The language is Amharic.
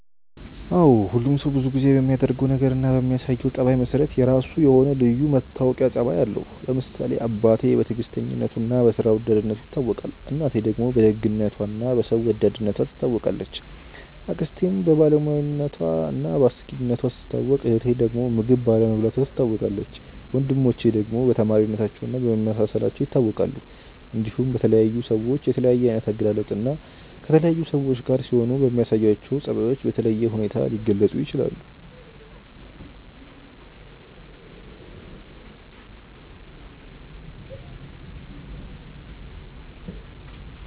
አዎ ሁሉም ሰው ብዙ ጊዜ በሚያደርገው ነገር እና በሚያሳየው ጸባይ መሰረት የራሱ የሆነ ልዩ መታወቂያ ጸባይ አለው። ለምሳሌ አባቴ በትዕግስተኝነቱ እና በስራ ወዳድነቱ ይታወቃል፣ እናቴ ደግሞ በደግነቷ እና በሰው ወዳድነቷ ትታወቃለች፣ አክስቴም በባለሙያነቷ እና በአስቂኝነቷ ስትታወቅ እህቴ ዳግም ምግብ ባለመብላቷ ትታወቃለች፣ ወንድሞቼ ደግሞ በተማሪነታቸው እና በመመሳሰላቸው ይታወቃሉ። እንዲሁም በተለያዩ ሰዎች በተለያየ አይነት አገላለጽ እና ከተለያዩ ሰዎች ጋር ሲሆኑ በሚያሳዩአቸው ጸባዮች በተለየ ሁኔታ ሊገለጹ ይችላል።